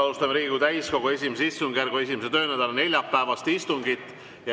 Alustame Riigikogu täiskogu I istungjärgu 1. töönädala neljapäevast istungit.